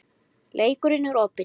Leikurinn er opinn